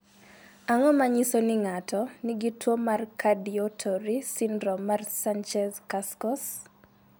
Ang�o ma nyiso ni ng�ato nigi tuo mar Cardioauditory syndrome mar Sanchez Cascos?